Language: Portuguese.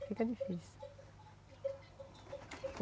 Fica difícil.